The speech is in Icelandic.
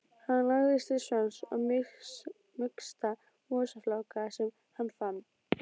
Hann lagðist til svefns á mýksta mosafláka sem hann fann.